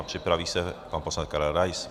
A připraví se pan poslanec Karel Rais.